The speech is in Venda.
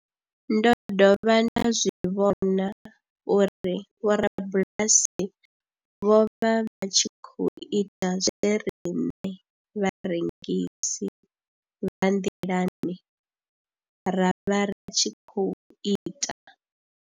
Ndo dovha nda zwi vhona uri vhorabulasi vho vha vha tshi khou ita zwe riṋe vharengisi vha nḓilani ra vha ri tshi khou ita.